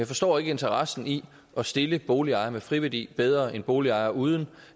forstår ikke interessen i at stille boligejere med friværdi bedre end boligejere uden